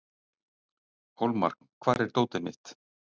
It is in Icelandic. Hólmar, hvar er dótið mitt?